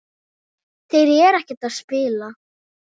Þeir eru ekkert að spila?